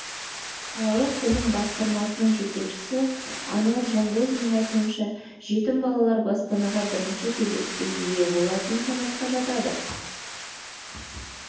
қалалық білім басқармасының жетекшісі ануар жанғозинның айтуынша жетім балалар баспанаға бірінші кезекте ие болатын санатқа жатады